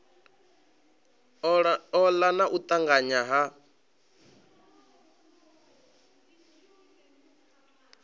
ola na u tanganya ha